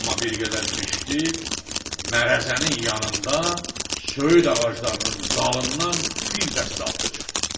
Amma bir qədər keçdi, Mərəzənin yanında söyüd ağaclarının dalından bir dəstə atlı çıxdı.